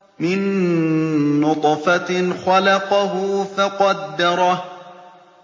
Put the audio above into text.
مِن نُّطْفَةٍ خَلَقَهُ فَقَدَّرَهُ